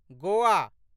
Goa